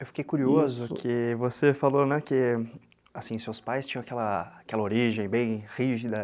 Eu fiquei curioso que você falou que seus pais tinham aquela origem bem rígida.